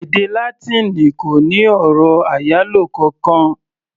Èdè Látíìnì kò ní ọ̀rọ̀ àyálò kankan.